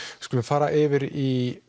skulum fara yfir í